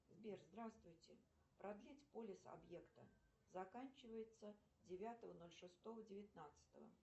сбер здравствуйте продлить полис объекта заканчивается девятого ноль шестого девятнадцатого